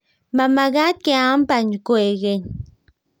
Mamekat keam bany kwekeny